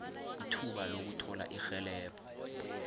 ithuba lokuthola irhelebho